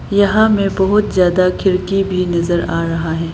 यहां मे बहुत ज्यादा खिड़की भी नजर आ रहा है।